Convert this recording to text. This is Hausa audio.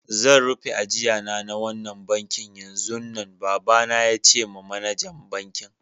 Zan rufe ajia na da wannan banki yanzun nan, baba na ya ce ma manajer bankin.